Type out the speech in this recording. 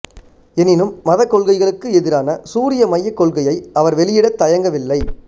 எனினும் மதக் கொள்கைகளுக்கு எதிரான சூரிய மையக் கொள்கையை அவர் வெளியிடத் தயங்கவில்லை